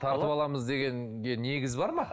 тартып аламыз дегенге негіз бар ма